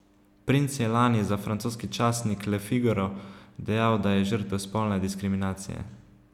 Princ je lani za francoski časnik Le Figaro dejal, da je žrtev spolne diskriminacije.